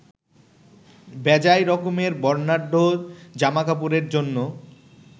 বেজায় রকমের বর্ণাঢ্য জামাকাপড়ের জন্য